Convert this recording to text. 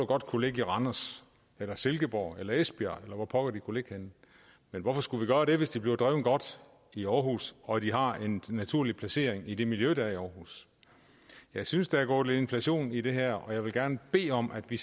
godt kunne ligge i randers eller silkeborg eller esbjerg eller hvor pokker de kunne ligge henne men hvorfor skulle vi gøre det hvis de bliver drevet godt i aarhus og har en naturlig placering i det miljø der er i aarhus jeg synes der er gået inflation i det her og jeg vil gerne bede om at vi